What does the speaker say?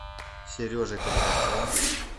сережей кудрявцевым